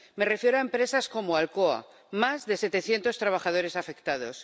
Me refiero a empresas como Alcoa, más de 700 trabajadores afectados.